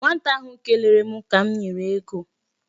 Nwata ahụ kelere m ka m nyere ego.